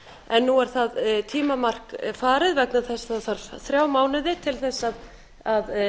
en nú er það tímamark farið vegna þess að það þarf þrjá mánuði til þess að